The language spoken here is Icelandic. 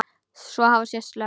Svo hafa sést lömb.